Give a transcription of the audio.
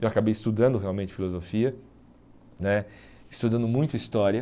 Eu acabei estudando realmente filosofia né, estudando muito história.